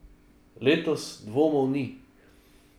Letos dvomov ni.